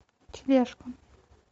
тележка